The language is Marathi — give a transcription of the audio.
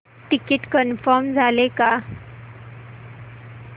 तिकीट कन्फर्म झाले का